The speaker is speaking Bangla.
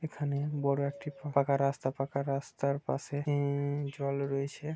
এখানে বড় একটি ফাপাকা রাস্তা পাকা রাস্তার পাশে উম জল রয়েছে--